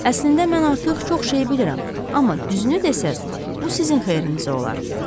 Əslində mən artıq çox şeyi bilirəm, amma düzünü desəz, bu sizin xeyrinizə olar.